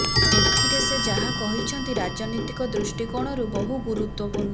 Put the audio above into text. ଏଥିରେ ସେ ଯାହା କହିଛନ୍ତି ରାଜନୀତିକ ଦୃଷ୍ଟିକୋଣରୁ ବହୁ ଗୁରୁତ୍ୱପୂର୍ଣ୍ଣ